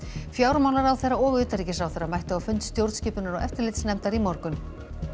fjármálaráðherra og utanríkisráðherra mættu á fund stjórnskipunar og eftirlitsnefndar í morgun